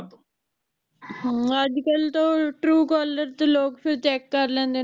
ਹਾਂ ਅੱਜ ਕਲ ਤਾ Truecaller ਤੇ ਲੋਕ ਫਿਰ check ਕਰ ਲੈਂਦੇ